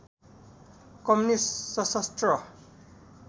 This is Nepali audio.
कम्युनिस्ट सशस्त्र